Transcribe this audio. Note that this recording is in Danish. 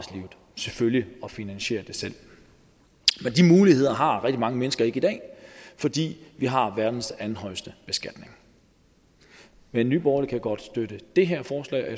selvfølgelig finansiere det selv men de muligheder har rigtig mange mennesker ikke i dag fordi vi har verdens andenhøjeste beskatning men nye borgerlige kan godt støtte det her forslag